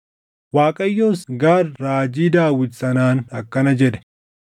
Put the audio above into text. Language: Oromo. Waaqayyos Gaad raajii Daawit sanaan akkana jedhe;